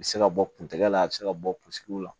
A bɛ se ka bɔ kun tɛgɛ la a bɛ se ka bɔ la